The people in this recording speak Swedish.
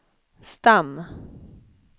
stam